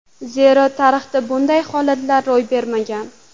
Zero tarixda bunday holatlar ro‘y bergan.